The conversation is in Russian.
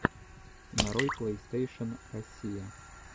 нарой плейстейшен россия